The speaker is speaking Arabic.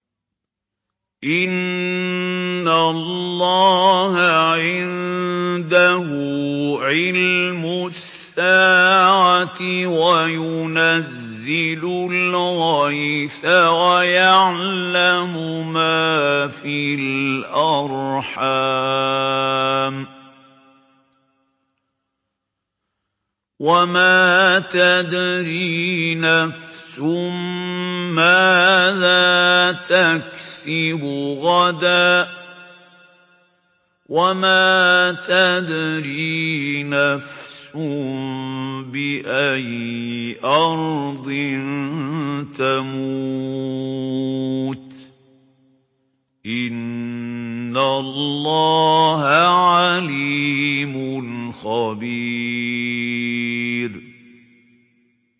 إِنَّ اللَّهَ عِندَهُ عِلْمُ السَّاعَةِ وَيُنَزِّلُ الْغَيْثَ وَيَعْلَمُ مَا فِي الْأَرْحَامِ ۖ وَمَا تَدْرِي نَفْسٌ مَّاذَا تَكْسِبُ غَدًا ۖ وَمَا تَدْرِي نَفْسٌ بِأَيِّ أَرْضٍ تَمُوتُ ۚ إِنَّ اللَّهَ عَلِيمٌ خَبِيرٌ